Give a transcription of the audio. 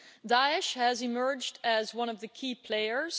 Daesh has emerged as one of the key players.